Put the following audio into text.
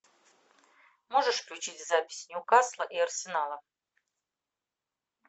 можешь включить запись ньюкасла и арсенала